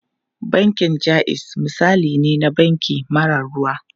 Bankin Jaiz misali ne na banki mara ruwa.